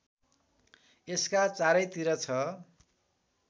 यसका चारैतिर छ